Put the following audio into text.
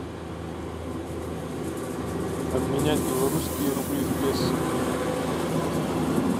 обменять белорусские рубли в песо